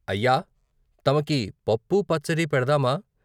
అయ్య తమకి పప్పూ, పచ్చదీ పెడ్తామా?